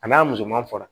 A n'a musoman fara